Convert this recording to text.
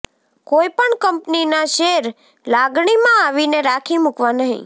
કોઈ પણ કંપનીના શેર લાગણીમાં આવીને રાખી મૂકવા નહીં